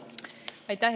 Aitäh!